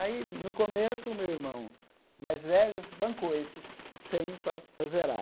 Aí, no começo, o meu irmão mais velho bancou esses cem para zerar.